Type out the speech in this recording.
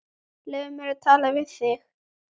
Leyfðu mér að tala við þig!